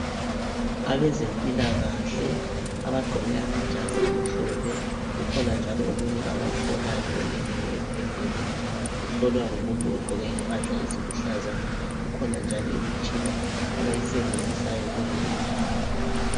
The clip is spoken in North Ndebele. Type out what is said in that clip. Abezempilakahle abagqoke amajazi amhlophe ukhona njalo omunye abamhlolayo oleleyo embhedeni uhlolwa ngumuntu ogqqoke impahla eziluhlaza kukhona njalo imitshina abayisebenzisayo kule indawo